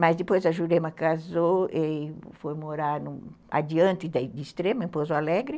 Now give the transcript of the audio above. Mas depois a Jurema casou e foi morar adiante de Extrema, em Pozo Alegre.